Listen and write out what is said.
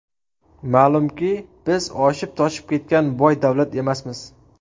Ma’lumki, biz oshib-toshib ketgan boy davlat emasmiz.